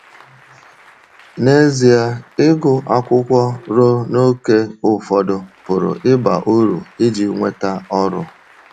N’ezie, ịgụ akwụkwọ ruo n’ókè ụfọdụ pụrụ ịba uru iji nweta ọrụ.